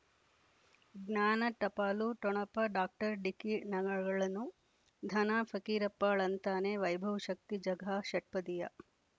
ಜ್ಞಾನ ಟಪಾಲು ಠೊಣಪ ಡಾಕ್ಟರ್ ಢಿಕ್ಕಿ ಣಗಳಳನು ಧನ ಫಕೀರಪ್ಪ ಳಂತಾನೆ ವೈಭವ್ ಶಕ್ತಿ ಝಗಾ ಷಟ್ಪದಿಯ